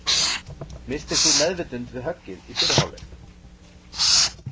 Misstir þú meðvitund við höggið í fyrri hálfleik?